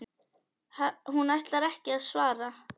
Hún ætlar ekki að svara.